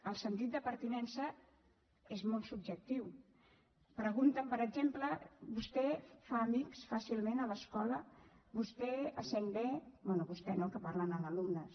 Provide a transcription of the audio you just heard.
el sentit de pertinença és molt subjectiu pregunten per exemple vostè fa amics fàcilment a l’escola vostè es sent bé bé vostè no que parlen amb alumnes